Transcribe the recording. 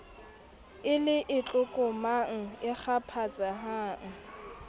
e le e tlokomang ekgaphatsehang